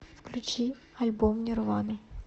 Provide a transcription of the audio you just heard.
включи альбом нирвана